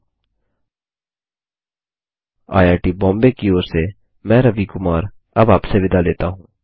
httpspoken tutorialorgNMEICT Intro IIT Bombay की ओर से मैं रवि कुमार अब आपसे विदा लेता हूँ